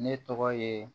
Ne tɔgɔ ye